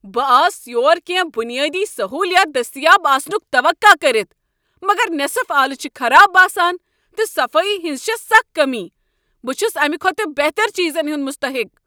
بہٕ آس یور کینٛہہ بنیٲدی سہولیات دٔستیاب آسنُک توقع کٔرتھ، مگر نصف آلہٕ چھ خراب باسان، تہٕ صفٲیی ہٕنٛز چھےٚ سخ کٔمی۔ بہٕ چھُس امہٕ کھوتہٕ بہتر چیٖزن ہنٛد مُستحق۔